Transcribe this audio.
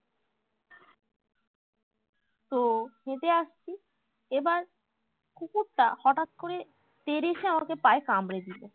তো হেঁটে আসছি এবার কুকুরটা হটাৎ করে তেড়ে এসে আমাকে পায়ে কামড়ে দিলো